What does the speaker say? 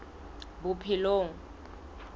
bophelong